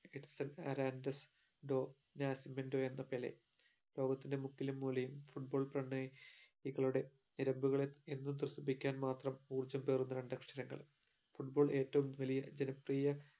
Edson Arantes do Nascimento എന്ന Pele ലോകത്തിൻറെ മുക്കിലും മൂലയും Football പ്രണ യികളുടെ നിരമ്പുകളെ എന്നും ത്രസിപ്പിക്കുവാൻ മാത്രം ഊർജം പകരുന്ന രണ്ടക്ഷരങ്ങൾ football ഏറ്റവും വലിയ ജനപ്രിയ